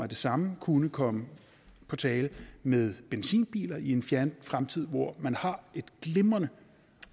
det samme kunne komme på tale med benzinbiler i en fjern fremtid hvor man har et glimrende